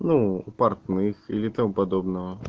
ну портных или тому подобного